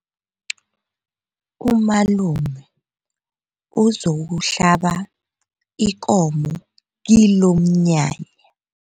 Umalume uzokuhlaba ikomo kilomnyanya.